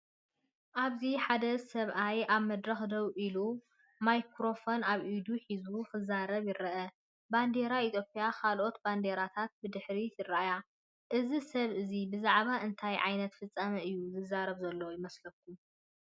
ኣብዚ ሓደ ሰብኣይ ኣብ መድረኽ ደው ኢሉ፡ ማይክሮፎን ኣብ ኢዱ ሒዙ፡ ክዛረብ ይርአ። ባንዴራ ኢትዮጵያን ካልኦት ባንዴራታትን ብድሕሪት ይረኣያ። እዚ ሰብ እዚ ብዛዕባ እንታይ ዓይነት ፍጻመ እዩ ዝዛረብ ዘሎ ይመስለኩም?